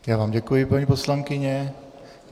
Já vám děkuji, paní poslankyně.